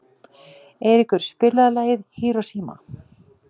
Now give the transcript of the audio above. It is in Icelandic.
Eiríkur, spilaðu lagið „Hiroshima“.